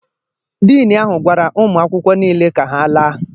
Dean ahụ gwara ụmụ akwụkwọ niile ka ha laa.